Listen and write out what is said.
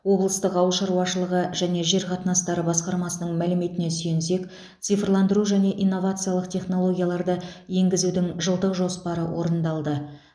облыстық ауыл шаруашылығы және жер қатынастары басқармасының мәліметіне сүйенсек цифрландыру және инновациялық технологияларды енгізудің жылдық жоспары орындалды